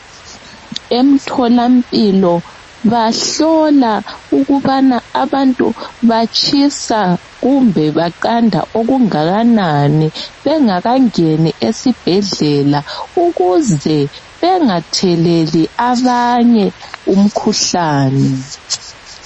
Emtholampilo bahlola ukubana abantu batshisa kumbe baqanda kangakanani bengakangeni esibhedlela ukuze bengatheleli abanye umkhuhlane.